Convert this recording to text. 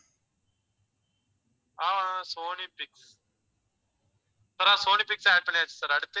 ஆஹ் ஆஹ் Sony Pix sir Sony Pix add பண்ணியாச்சு sir அடுத்து?